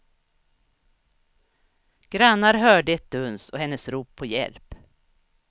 Grannar hörde ett duns och hennes rop på hjälp.